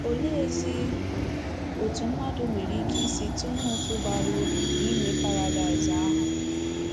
Oleezi otú mmadụ nwere ike isi tụnye ụtụ bara uru n’inwe paradaịs ahụ?